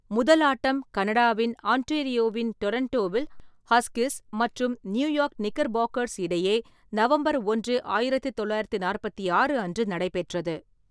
முதல் ஆட்டம் கனடாவின் ஆன்டேரியோவின் டொரன்டோவில் ஹஸ்கிஸ் மற்றும் நியூயார்க் நிக்கர் பாக்கர்ஸ் இடையே நவம்பர் ஓன்று ,ஆயிரத்து தொள்ளாயிரத்து நாற்பத்தி ஆறு அன்று நடைபெற்றது.